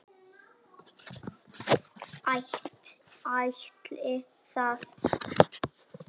Ætli það?